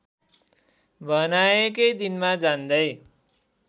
बनाएकै दिनमा जान्दै